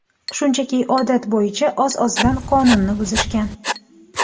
Shunchaki odat bo‘yicha oz-ozdan qonunni buzishgan.